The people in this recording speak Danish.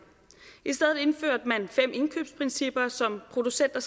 i stedet indførte man fem indkøbsprincipper som producenter